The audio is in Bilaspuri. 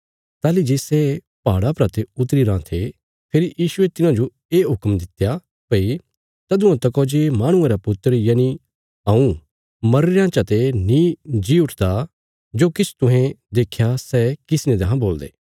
ताहली जे सै पहाड़ा परा ते उतरी राँ थे फेरी यीशुये तिन्हांजो ये हुक्म दित्या भई तदुआं तकौ जे माहणुये रा पुत्र यनि हऊँ मरीरयां चते नीं जी उठदा तदुआं तकौ जो किछ तुहें देख्या सै किसी ने देहां बोलदे